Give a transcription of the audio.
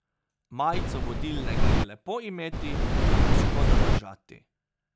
Majico vodilnega je lepo imeti, a težko zadržati.